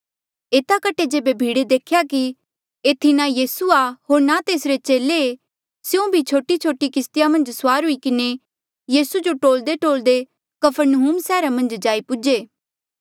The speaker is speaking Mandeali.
एता कठे जेबे भीड़े देख्या कि एथी ना यीसू आ होर ना तेसरे चेले ऐें स्यों भी छोटीछोटी किस्तिया मन्झ सुआर हुई किन्हें यीसू जो टोल्देटोल्दे कफरनहूम सैहरा जाई पूजे